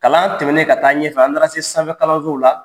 Kalan tɛmɛnen ka taa ɲɛfɛ, an taala se sanfɛ kalansow la.